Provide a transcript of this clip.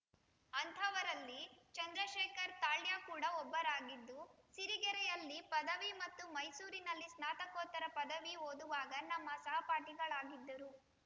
ಅಂತಹವರಲ್ಲಿ ಚಂದ್ರಶೇಖರ್‌ ತಾಳ್ಯ ಕೂಡ ಒಬ್ಬರಾಗಿದ್ದು ಸಿರಿಗೆರೆಯಲ್ಲಿ ಪದವಿ ಮತ್ತು ಮೈಸೂರಿನಲ್ಲಿ ಸ್ನಾತಕೋತ್ತರ ಪದವಿ ಓದುವಾಗ ನಮ್ಮ ಸಹಪಾಠಿಗಳಾಗಿದ್ದರು